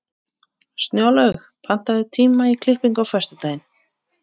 Snjólaug, pantaðu tíma í klippingu á föstudaginn.